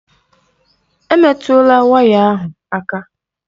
Emetụla waya ahụ aka!